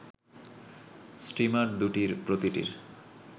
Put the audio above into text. steamer দুটির প্রতিটির